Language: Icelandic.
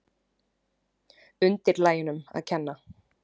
Undirlægjunum að kenna.